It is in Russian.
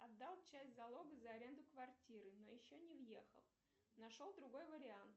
отдал часть залога за аренду квартиры но еще не въехал нашел другой вариант